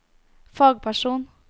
fagperson